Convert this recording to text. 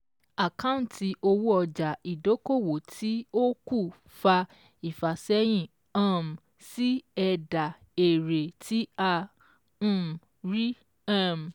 Àkáǹtì owó ọjà ìdókòwò tí ó kù fa ìfàsẹ́yìn um sí ẹ̀dà èrè tí a um rí. um